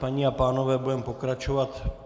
Paní a pánové, budeme pokračovat.